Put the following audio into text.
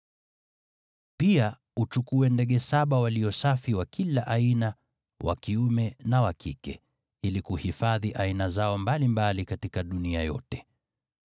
Pia uchukue ndege saba walio safi wa kila aina, wa kiume na wa kike, ili kuhifadhi aina zao mbalimbali katika dunia yote.